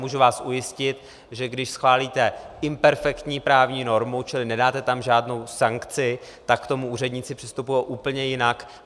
Můžu vás ujistit, že když schválíte imperfektní právní normu, čili nedáte tam žádnou sankci, tak k tomu úředníci přistupují úplně jinak.